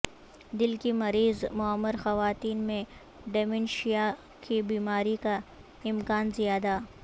دل کی مریض معمر خواتین میں ڈیمینشیاء کی بیماری کا امکان زیادہ